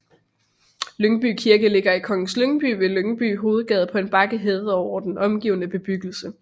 Lyngby Kirke ligger i Kongens Lyngby ved Lyngby Hovedgade på en bakke hævet over den omgivende bebyggelse